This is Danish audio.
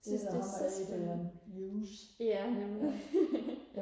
jeg synes det er så spændende ja